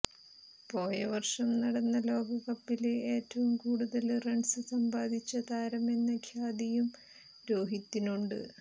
പോയവര്ഷം നടന്ന ലോകകപ്പില് ഏറ്റവും കൂടുതല് റണ്സ് സമ്പാദിച്ച താരമെന്ന ഖ്യാതിയും രോഹിത്തിനുണ്ട്